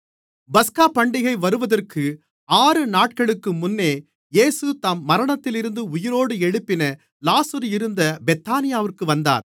பஸ்காபண்டிகை வருவதற்கு ஆறு நாட்களுக்கு முன்னே இயேசு தாம் மரணத்திலிருந்து உயிரோடு எழுப்பின லாசரு இருந்த பெத்தானியாவிற்கு வந்தார்